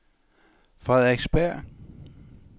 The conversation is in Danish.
Frederiksberg